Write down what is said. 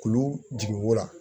Kulu jigin wo la